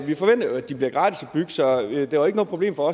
vi forventer jo at de bliver gratis at bygge så det var ikke noget problem for